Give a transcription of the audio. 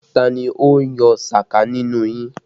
Ta ni ó yọ sàká nínú yín!